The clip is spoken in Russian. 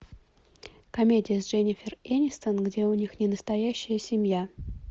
комедия с дженнифер энистон где у них ненастоящая семья